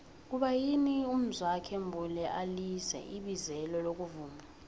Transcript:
kuba yini umzwokhe mbuli alize ibizelo lokuvuma